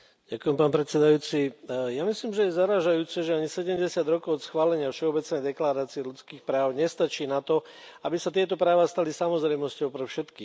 Pán predsedajúci, ja myslím, že je zarážajúce, že ani 70 rokov od schválenia Všeobecnej deklarácie ľudských práv nestačí na to, aby sa tieto práva stali samozrejmosťou pre všetkých.